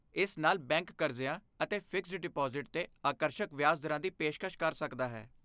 ਇਸ ਨਾਲ ਬੈਂਕ ਕਰਜ਼ਿਆਂ ਅਤੇ ਫਿਕਸਡ ਡਿਪਾਜ਼ਿਟ 'ਤੇ ਆਕਰਸ਼ਕ ਵਿਆਜ ਦਰਾਂ ਦੀ ਪੇਸ਼ਕਸ਼ ਕਰ ਸਕਦਾ ਹੈ।